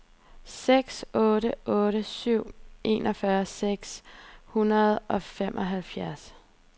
seks otte otte syv enogfyrre seks hundrede og femoghalvfjerds